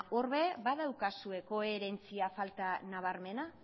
hor ere badaukazue koherentzia falta nabarmena